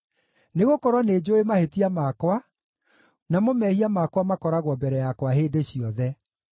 Nĩgũkorwo nĩnjũũĩ mahĩtia makwa, namo mehia makwa makoragwo mbere yakwa hĩndĩ ciothe.